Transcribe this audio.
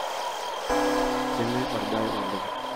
keme orbai oleng